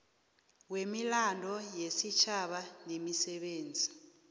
wemilando yesitjhaba nemisebenzi